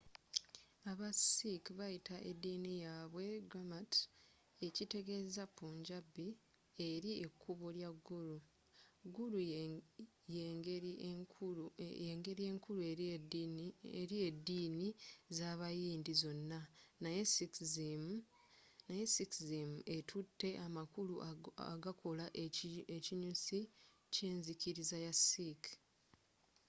aba sikhs bayita ediini yaabwe gurmat ekitegeza punjabi eri ekubo lya guru”. guru yengeri enkuru eri ediini z'abayindi zonna naye sikhism ettute amakulu agakola ekinyusi ky'enzikiriza ya sikh